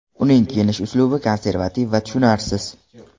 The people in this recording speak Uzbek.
Uning kiyinish uslubi konservativ va tushunarsiz.